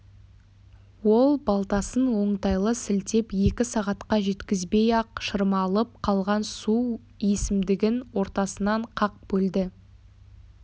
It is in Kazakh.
ол балтасын оңтайлы сілтеп екі сағатқа жеткізбей-ақ шырмалып қалған су есімдігін ортасынан қақ бөлді